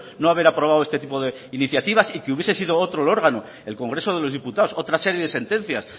no haber aprobado este tipo de iniciativas y que hubiese sido otro el órgano el congreso de los diputados otra serie de sentencias